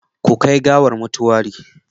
Ku kai gawar motuwari